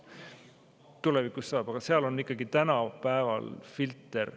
Tulevikus ta selle saab, aga seal on ikkagi filter.